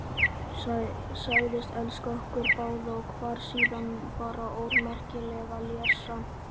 Sagðist elska okkur báða og var síðan bara ómerkileg lessa.